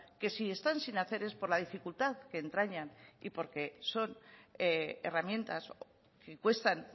que si están sin hacer es por la dificultad que entrañan y porque son herramientas que cuestan